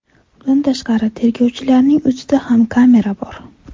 Bundan tashqari, tergovchilarning o‘zida ham kamera bor.